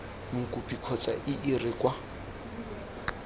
mokopi kgotsa ii re kwa